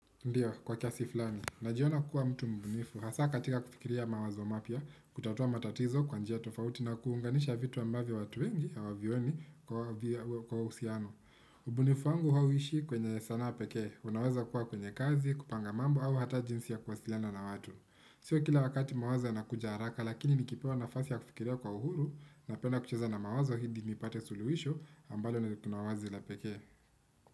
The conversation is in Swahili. Ndiyo, kwa kiasi fulani, najiona kuwa mtu mbunifu, hasa katika kufikiria mawazo mapya, kutatua matatizo kwa njia tofauti na kuunganisha vitu ambavyo watu wengi hawavioni kwa uhusiano. Mbunifu wangu hauishi kwenye sanaa pekee, unaweza kuwa kwenye kazi, kupanga mambo au hata jinsi ya kuwasiliana na watu. Sio kila wakati mawazo yanakuja haraka lakini nikipewa nafasi ya kufikiria kwa uhuru napenda kucheza na mawazo hadi nipate suluhisho ambalo na kuna wazi la pekee.